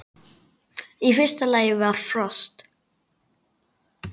Í fyrsta lagi var frost.